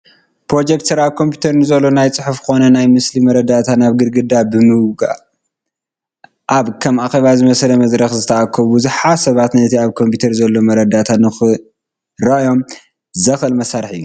ፕሮጀክተር ኣብ ኮምፒዩተር ንዘሎ ናይ ፅሑፍ ኮነ ናይ ምስሊ መረዳእታ ናብ ግዳግድ ብምግዋህ ኣብ ከም ኣኬባ ዝመሰለ መድረኽ ዝተኣከቡ ብዙሓት ሰባት ነቲ ኣብ ኮምፒዩተር ዘሎ መረዳእታ ንክርእዮዎ ዘኽእል መሳርሒ እዩ፡፡